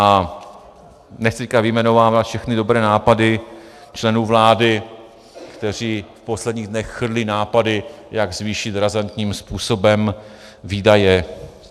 A nechci teď vyjmenovávat všechny dobré nápady členů vlády, kteří v posledních dnech chrlí nápady, jak zvýšit razantním způsobem výdaje.